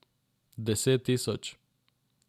Deset tisoč.